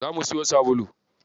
Zo mu siyo sabulu.